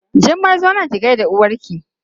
Jummai zo nan ki gaida uwarki!